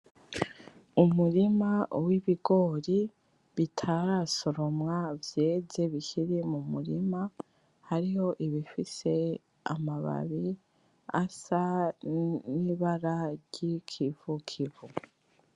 Umurima w'ibigori bitarasoromwa vyeze bikiri mumurima hariho ibifise amababi asa nibara Ryigivukivu .